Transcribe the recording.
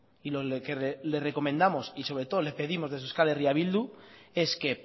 y lo que le recomendamos y sobre todo le pedimos desde euskal herria bildu es que